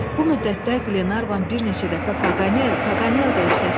Bu müddətdə Qlenarvan bir neçə dəfə "Paqanel, Paqanel" deyib səsləndi.